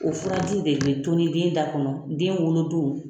O furajiw de bɛ tɔnni den da kɔnɔ den wolo don.